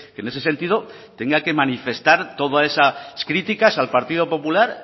en ese sentido tenga que manifestar todas esas críticas al partido popular